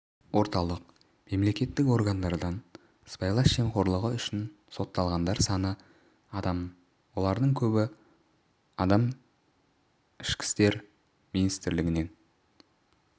орталық мемлекеттік органдардан сыбайлас жемқорлығы үшін сотталғандар саны адам олардың көбі адам ішкі істер министрлігінің